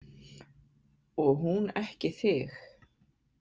Og hún ekki þig?